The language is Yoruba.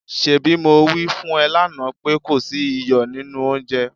ṣebí mo wí fún ẹ lánàá pé kò sí iyọ̀ nínú oúnjẹ?